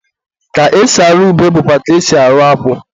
ka esi arụ ube bụkwa ka e si arụ akwụ.